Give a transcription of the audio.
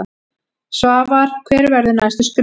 Svavar: Hver verða næstu skref?